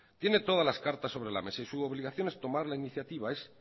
tiene todas las cartas sobre la mesa y su obligación es tomar la iniciativa es